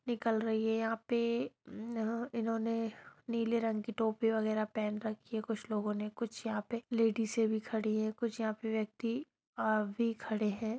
निकल रही है यहाँ पे अ उन्होंने यहाँ पे नीले रंग की टोपी वगैरा पहन रखी है कुछ लोगों ने कुछ यहाँ पे लेडीजे भी खड़ी है कुछ यहाँ पे व्यक्ति आदमी भी खड़े है।